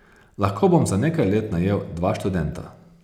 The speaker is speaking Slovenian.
Lahko bom za nekaj let najel dva študenta.